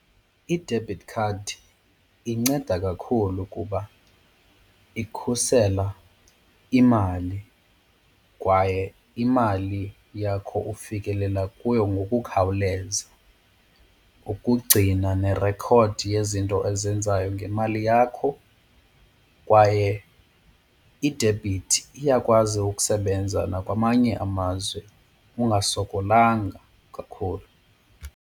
I-debit card inceda kakhulu kuba ikhusela imali kwaye imali yakho ufikelela kuyo ngokukhawuleza ukugcina nerekhodi yezinto ozenzayo ngemali yakho kwaye idebhithi iyakwazi ukusebenza nakwamanye amazwe ungasokolanga kakhulu.